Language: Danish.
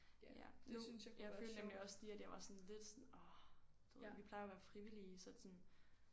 Ja nu jeg følte nemlig også lige at jeg var sådan lidt sådan orh du ved vi plejer jo at være frivillige så det sådan